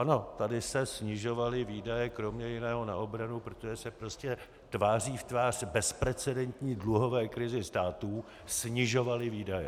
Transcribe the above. Ano, tady se snižovaly výdaje kromě jiného na obranu, protože se prostě tváří v tvář bezprecedentní dluhové krizi státu snižovaly výdaje.